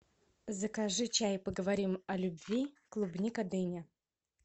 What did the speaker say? закажи чай поговорим о любви клубника дыня